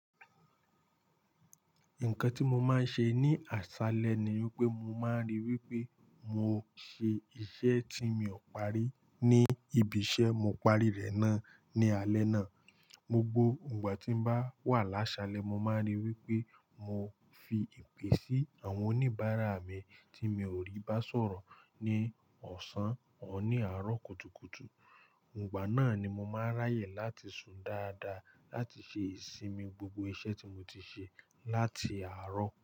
Nǹkan tí mo máa ń ṣe ní àṣálẹ́ ni pé mo máa ń ríi wípé mo ṣe iṣẹ́ tí mi ò parí ni ibi iṣẹ́, mo parí rẹ̀ náà ní alẹ́ náà. Gbogbó, ìgbà tí mo bá wà lásálẹ́, mo máa ń ríi wípé mo fi ìpè sí àwọn oníbàárà mi tí mi ò rí bá sọ̀rọ̀ ní ọ̀sán, òr ní àárọ̀ kùtùkùtù. Ìgbà náà ni mo máa ń ráyè láti sùn dáadáa láti ṣe ìsinmi gbogbo iṣẹ́ tí mo ti ṣe láti àárọ̀